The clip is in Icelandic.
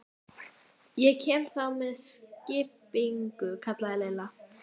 Ég kem þá með skipinu, kallaði Lilla.